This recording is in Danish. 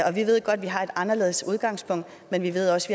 og vi ved godt at vi har et anderledes udgangspunkt men vi ved også